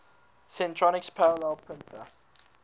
centronics parallel printer